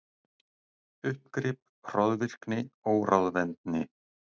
Uppgrip, hroðvirkni, óráðvendni.